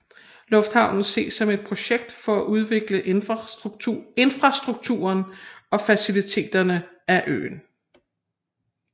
Lufthavnen ses som et projekt for at udvikle infrastrukturen og faciliteterne af øen